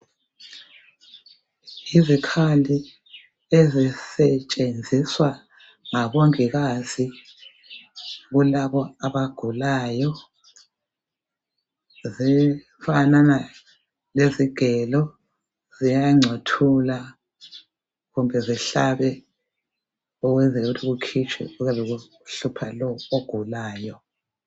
Izikhali ezisetshenziswa ngabomongikazi kulabo abagulayo zifanana lezigelo ziyangcothula kumbe zihlabe ukwenzela ukuthi kukhitshwe okuyabe kuhlupha lo ogulayo.